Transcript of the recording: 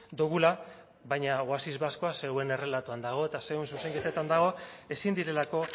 dugula baina oasis baskoa zeuen errelatoan dago eta zeuen zuzenketetan dago ezin direlako